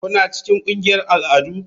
Kuna cikin ƙungiyar al'adu?